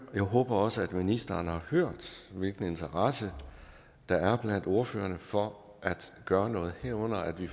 jeg håber også at ministeren har hørt hvilken interesse der er blandt ordførerne for at gøre noget herunder at vi